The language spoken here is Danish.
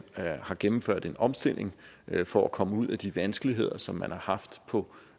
har gennemført en omstilling for at komme ud af de vanskeligheder som man har haft på